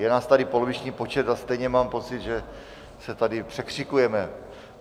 Je nás tady poloviční počet a stejně mám pocit, že se tady překřikujeme.